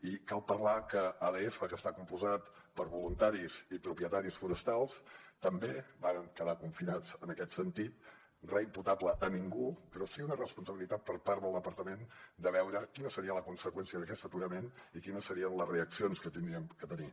i cal parlar que adf que està compost per voluntaris i propietaris forestals també varen quedar confinats en aquest sentit re imputable a ningú però sí una responsabilitat per part del departament de veure quina seria la conseqüència d’aquest aturament i quines serien les reaccions que hauríem de tenir